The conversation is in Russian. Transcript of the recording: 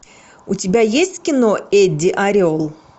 у тебя есть кино эдди орел